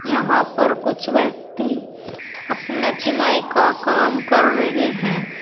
यहां पर कुछ व्यक्ति अपना चुनाई का काम कर रहे हैं।